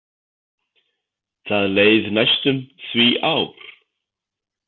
Það leið næstum því ár.